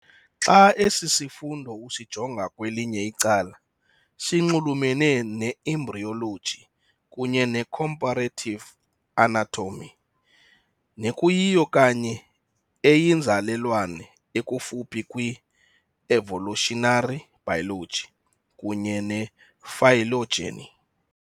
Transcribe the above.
Xa esi sifundo usijonga kwelinye icala, sinxulumele ne-embryology kunye ne-comparative anatomy, nekuyiyo kanye eyinzalelwane ekufuphi kwi-evolutionary biology kunye ne-phylogeny.